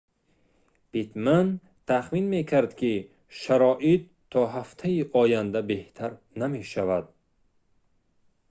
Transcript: питтман тахмин мекард ки шароит то ҳафтаи оянда беҳтар намешавад